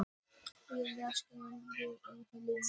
Núverandi sýslumaður í Eyjafirði.